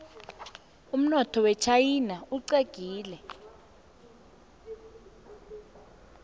umnotho wechaina uxegile